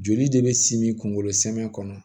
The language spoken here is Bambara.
Joli de bɛ simi kunkolo sɛnɛn kɔnɔ